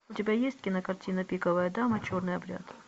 у тебя есть кинокартина пиковая дама черный обряд